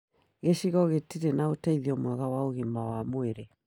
Gĩcigo gĩtĩri na ũteithio mwega wa ũgima wa mwĩrĩ